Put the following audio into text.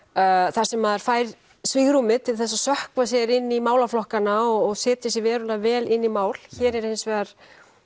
þar sem maður fær svigrúm til að sökkva sér inn í málaflokkana og setja sig verulega vel inn í mál hér er hins vegar